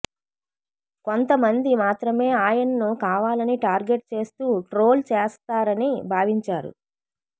కొంతమంది మాత్రమే ఆయనను కావాలని టార్గెట్ చేస్తూ ట్రోల్ చేస్తారని భావించారు